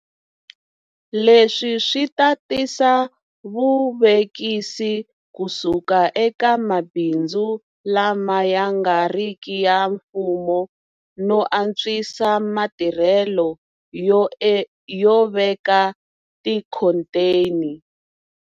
Leswi swi ta tisa vuvekisi kusuka eka mabindzu lama ya nga riki ya mfumo no antswisa matirhelo yo veka tikhontheni.